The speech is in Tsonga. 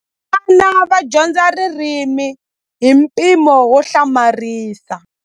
Vana va dyondza ririmi hi mpimo wo hlamarisa.